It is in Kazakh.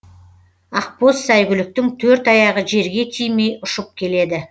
ақбоз сәйгүліктің төрт аяғы жерге тимей ұшып келеді